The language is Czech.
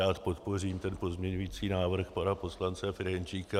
Rád podpořím ten pozměňovací návrh pana poslance Ferjenčíka.